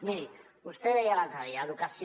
miri vostè deia l’altre dia educació